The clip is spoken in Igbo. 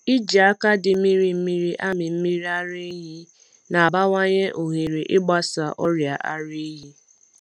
Iji aka dị mmiri mmiri amị mmiri ara ehi na-abawanye ohere ịgbasa ọrịa ara ehi.